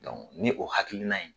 Dɔnku ni o hakilina ye